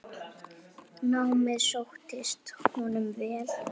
Námið sóttist honum vel.